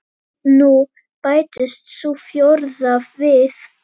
Nú bætist sú fjórða við.